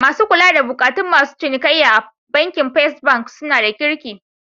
Masu kula da bukatun masu cinikayya a bankin first bank suna da kirki.